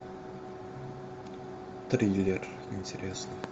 триллер интересный